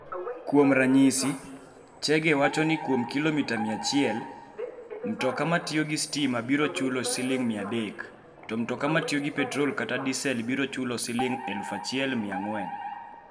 Kuom ranyisi, Chege wacho ni kuom kilomita 100 ka kilomita, mtoka matiyo gi stima biro chulo Sh300, to mtoka matiyo gi petrol kata diesel biro chulo Sh1,400.